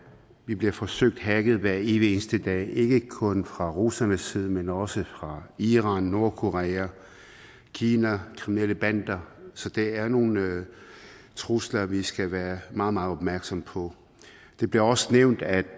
vi bliver forsøgt hacket hver evig eneste dag ikke kun fra russernes side men også fra iran nordkorea kina kriminelle bander så det er nogle trusler vi skal være meget meget opmærksomme på det bliver også nævnt at